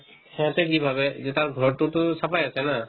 সেহেঁন্তে কি ভাবে যে তাৰ ঘৰতোতো চাফাই আছে না